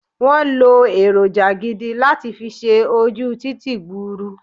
Won lo èròjà gidi láti fi ṣe ojú títì gburu